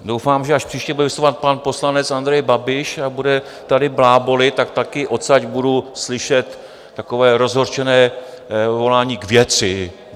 Doufám, že až příště bude vystupovat pan poslanec Andrej Babiš a bude tady blábolit, tak taky odtud budu slyšet takové rozhořčené volání: K věci!